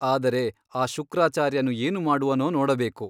ಆದರೆ ಆ ಶುಕ್ರಾಚಾರ್ಯನು ಏನು ಮಾಡುವನೋ ನೋಡಬೇಕು.